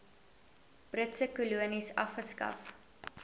britse kolonies afgeskaf